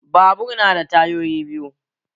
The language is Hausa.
Babur na da tayoyi biyu